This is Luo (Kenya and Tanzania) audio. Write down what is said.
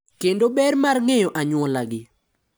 Kendo ber mar ng’eyo anyuolagi.